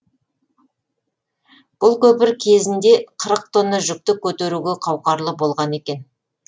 бұл көпір кезінде қырық тонна жүкті көтеруге қауқарлы болған екен